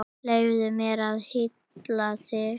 Leyfðu mér að hylla þig.